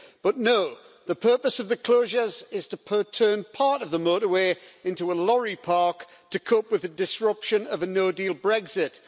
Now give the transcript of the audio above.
But no, the purpose of the closures is to turn part of the motorway into a lorry park to cope with the disruption of a no deal Brexit.